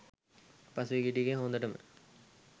පහුගිය ටිකේ හොඳටම